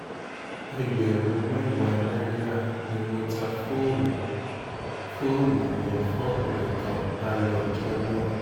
ẹgbẹ̀rún mẹ́wàá náírà ni mo ta fóònù fóònù yẹn fókunrin kan lálẹ́ ọjọ́ náà